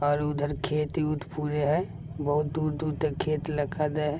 और उधर खेत उत पुरे हेय बहुत दूर-दूर तक खेत लखा देए हेय।